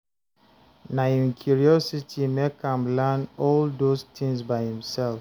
Na im curiosity make am learn all those tins by himself